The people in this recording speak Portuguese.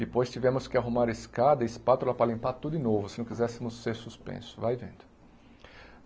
depois tivemos que arrumar escada e espátula para limpar tudo de novo, se não quiséssemos ser suspensos, vai vendo.